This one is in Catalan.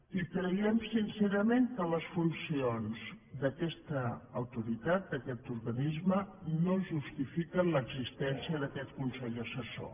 i creiem sincerament que les funcions d’aquesta autoritat d’aquest organisme no justifiquen l’existència d’aquest consell assessor